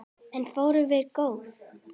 En ferðin var góð.